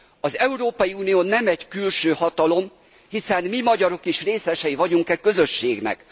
Az Európai Unió nem egy külső hatalom, hiszen mi, magyarok is részesei vagyunk e közösségnek.